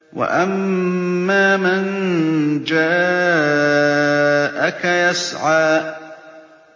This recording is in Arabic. وَأَمَّا مَن جَاءَكَ يَسْعَىٰ